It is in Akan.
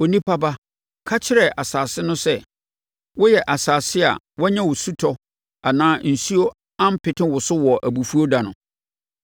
“Onipa ba, ka kyerɛ asase no sɛ, ‘Woyɛ asase a woanya osutɔ anaa osuo ampete wo so wɔ abufuo ɛda no.’